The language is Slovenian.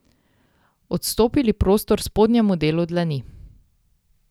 Odstopili prostor spodnjemu delu dlani.